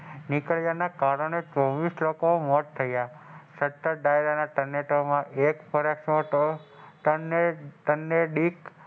અને અડતાલીસ નોન અને આર્થિક રીતે ઇજા અને અધિક ને અને પાંચ મહિલા,